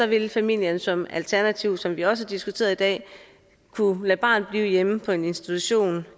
vil familien som alternativ som vi også har diskuteret i dag kunne lade barnet blive hjemme på en institution